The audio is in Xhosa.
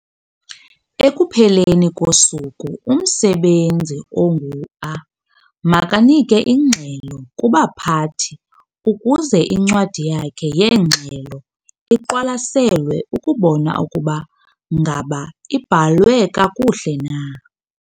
Ekupheleni kosuku umsebenzi ongu-A makanike ingxelo kubaphathi ukuze incwadi yakhe yeengxelo iqwalaselwe ukubona ukuba ngaba ibhalwe kakuhle na.